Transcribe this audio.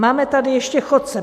Máme tady ještě chodce.